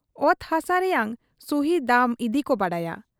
ᱚᱛ ᱦᱟᱥᱟ ᱨᱮᱭᱟᱝ ᱥᱩᱦᱤ ᱫᱟᱢ ᱤᱫᱤᱠᱚ ᱵᱟᱰᱟᱭᱟ ᱾